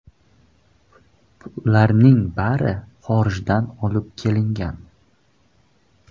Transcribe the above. Ularning bari xorijdan olib kelingan.